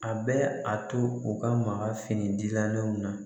A bɛ a to u ka maka fini gilannenw na